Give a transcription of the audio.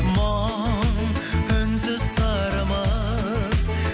мұң үнсіз сырымыз